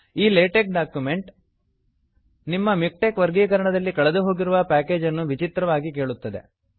ಈ LaTeX document ನಿಮ್ಮ MiKTeX ವರ್ಗೀಕರಣದಲ್ಲಿ ಕಳೆದುಹೋಗಿರುವ ಪ್ಯಾಕೇಜನ್ನು ವಿಚಿತ್ರವಾಗಿ ಕೇಳುತ್ತದೆ